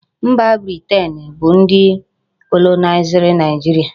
Mba Britian bu ndi kolonaiziri Naijiria